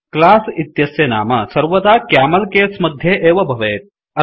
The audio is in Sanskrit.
क्लास इत्यस्य नाम सर्वदा क्यामल केस मध्ये एव भवेत्